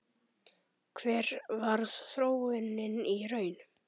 Hver varð þróunin í raun?